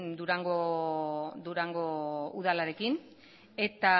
durango udalarekin eta